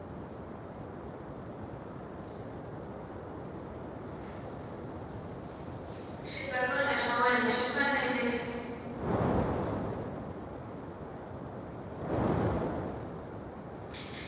xitsalwana xa wena xi fanele